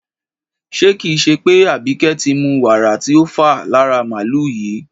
Ṣé kì í ṣe pé Àbíkẹ́ ti mu wàrà tí a fà lára màlùú yìí?